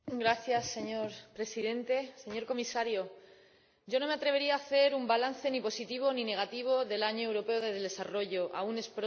Señor Presidente, señor Comisario, yo no me atrevería a hacer un balance ni positivo ni negativo del Año Europeo del Desarrollo, aún es pronto.